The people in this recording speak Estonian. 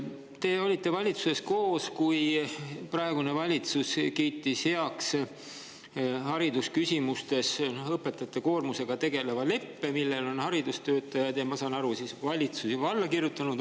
Te olite valitsuses koos, kui praegune valitsus kiitis haridusküsimusi heaks õpetajate koormusega tegeleva leppe, millele on haridustöötajad ja ma saan aru, ka valitsus juba alla kirjutanud.